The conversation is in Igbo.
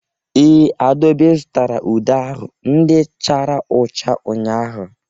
Ee, Adaobi zụtara ude ahụ ndị chara ụcha ụnyahụ.